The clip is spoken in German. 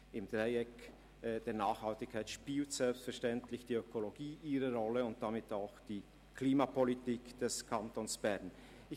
Im Dreieck der Nachhaltigkeit spielt selbstverständlich die Ökologie und damit auch die Klimapolitik des Kantons Bern eine Rolle.